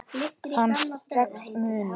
Fannstu strax mun?